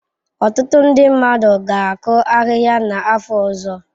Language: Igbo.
Ọtụtụ ndị mmadụ ga-akụ ahịhịa n'afọ ọzọ.